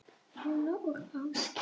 Rúna og Ásgeir.